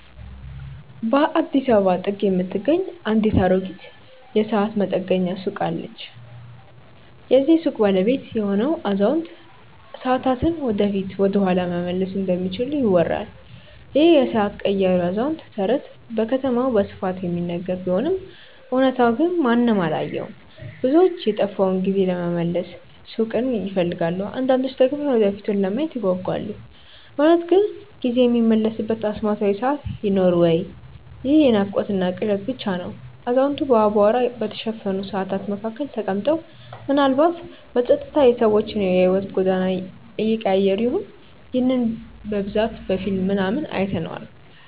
በአዲስ አበባ ጥግ የምትገኝ አንዲት አሮጌ የሰዓት መጠገኛ ሱቅ አለች። የዚህች ሱቅ ባለቤት የሆነው አዛውንት፣ ሰዓታትን ወደፊት ወይም ወደኋላ መመለስ እንደሚችሉ ይወራል ይህ የሰዓት ቀያሪው አዛውንት ተረት በከተማዋ በስፋት የሚነገር ቢሆንም እውነታው ግን ማንም አላየውም። ብዙዎች የጠፋውን ጊዜ ለመመለስ ሱቁን ይፈልጋሉ አንዳንዶች ደግሞ የወደፊቱን ለማየት ይጓጓሉ። እውነት ግን ጊዜ የሚመለስበት አስማታዊ ሰዓት ይኖር ወይ ይህ የናፍቆትና ቅዠት ብቻ ነው አዛውንቱ በአቧራ በተሸፈኑ ሰዓታት መካከል ተቀምጠው፣ ምናልባትም በጸጥታ የሰዎችን የሕይወት ጎዳና እየቀያየሩ ይሆን? ይህንን በብዛት በፊልም ምናምን አይተነዋል